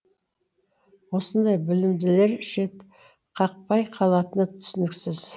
осындай білімділер шетқақпай қалатыны түсініксіз